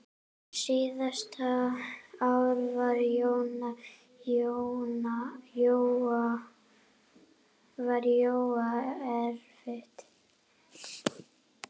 Síðasta ár var Jóa erfitt.